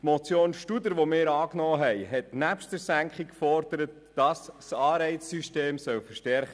Die von uns angenommene Motion Studer hat neben der Senkung eine Verstärkung des Anreizsystems gefordert.